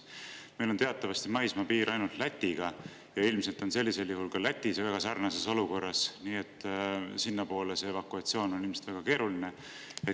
Meil on teatavasti maismaapiir ainult Lätiga ja ilmselt on sellisel juhul ka Läti väga sarnases olukorras, nii et evakuatsioon sinnapoole oleks ilmselt väga keeruline.